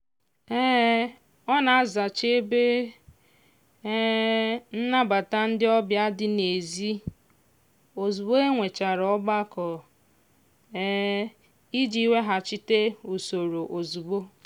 um ọ na-azacha ebe um nnabata ndị ọbịa dị n'ezi ozugbo e nwechara ọgbakọ um iji weghachite usoro ozugbo